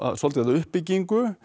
svolítið að uppbyggingu